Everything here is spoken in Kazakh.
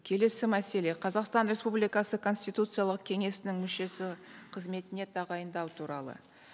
келесі мәселе қазақстан республикасы конституциялық кеңесінің мүшесі қызметіне тағайындау туралы